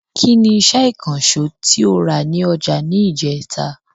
Ki ni iṣẹ́ ìkànsó tí o rà ní ọjà ni ijeta?